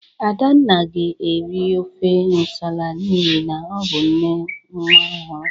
Adanna ga-eri ofe nsala n'ihi na ọ bụ nne nwa ọhụrụ.